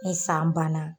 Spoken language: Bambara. Ni san banna